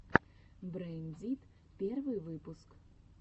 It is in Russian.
брэйн дит первый выпуск